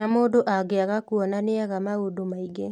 Na mũndũ angĩaga kuona nĩaga maũndũ maingĩ